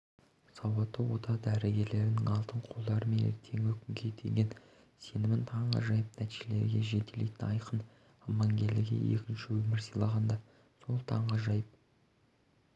сауатты ота дәрігерлердің алтын қолдары мен ертеңгі күнге деген сенімнің таңғажайып нәтижелерге жетелейтіні айқын амангелдіге екінші өмір сыйлаған да сол таңғажайып